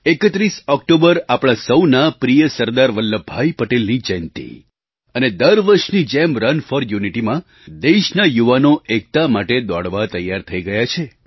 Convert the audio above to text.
31 October આપણા સૌના પ્રિય સરદાર વલ્લભભાઈ પટેલની જયંતી અને દર વર્ષની જેમ રન ફોર યુનિટી માં દેશના યુવાનો એકતા માટે દોડવા તૈયાર થઈ ગયા છે